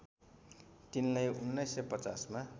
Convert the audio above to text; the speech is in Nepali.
तिनलाई १९५० मा